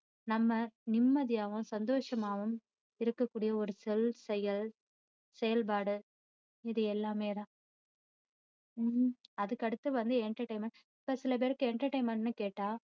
நம்ம நிம்மதியாவும் சந்தோசமாவும் இருக்க கூடிய ஒரு சொல் செயல் செயல்பாடு இது எல்லாமே தான் உம் அதுக்கு அடுத்து வந்து entertainment இப்போ சிலபேருக்கு entertainment ன்னு கேட்டா